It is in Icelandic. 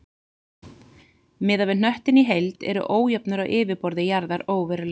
Miðað við hnöttinn í heild eru ójöfnur á yfirborði jarðar óverulegar.